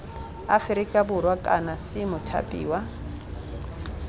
aferika borwa kana c mothapiwa